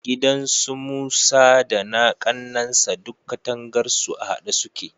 Gidan su Musa da na ƙannansa duk katangarsu a haɗe suke.